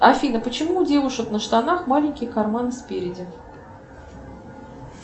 афина почему у девушек на штанах маленький карман спереди